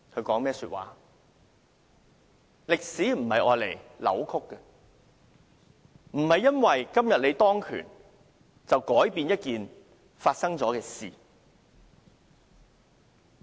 歷史不是用來扭曲的，不是說你今天當權，便可以改變一件已發生的事。